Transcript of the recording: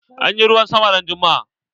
Anyi ruwan sama ran juma'a.